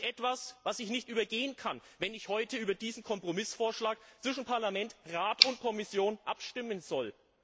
Das ist etwas, was ich nicht übergehen kann, wenn ich heute über diesen Kompromissvorschlag zwischen Parlament, Rat und Kommission abstimmen soll.